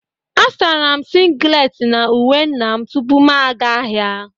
A sara m singlet na uwe nna m tupu m aga ahịa